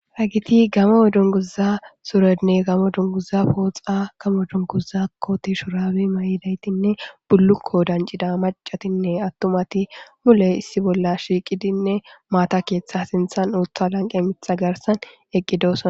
Hagiti gamo dunguza suredne gamo dunguza pooxa gamo dunguza kote shuraawi mayidaytinne bullukko dancida macatinne attumati mule issi bolla shiiqidinne maata keeththa sinthan uutha lanqe mitha garsan eqqidosana